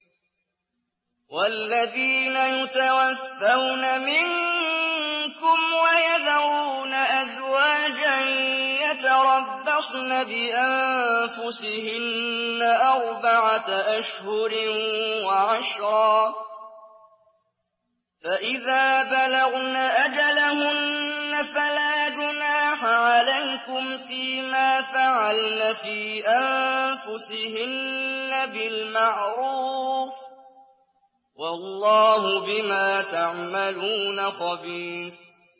وَالَّذِينَ يُتَوَفَّوْنَ مِنكُمْ وَيَذَرُونَ أَزْوَاجًا يَتَرَبَّصْنَ بِأَنفُسِهِنَّ أَرْبَعَةَ أَشْهُرٍ وَعَشْرًا ۖ فَإِذَا بَلَغْنَ أَجَلَهُنَّ فَلَا جُنَاحَ عَلَيْكُمْ فِيمَا فَعَلْنَ فِي أَنفُسِهِنَّ بِالْمَعْرُوفِ ۗ وَاللَّهُ بِمَا تَعْمَلُونَ خَبِيرٌ